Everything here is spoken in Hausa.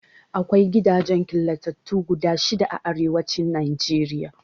Akwai gidajen killatattu guda shida a Arewacin Najeriya.